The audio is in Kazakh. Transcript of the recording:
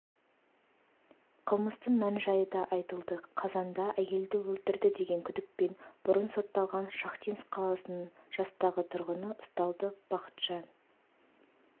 қылмыстың мән-жайы да айтылды қазанда әйелді өлтірді деген күдікпен бұрын сотталған шахтинск қаласының жастағы тұрғыныұсталды бақытжан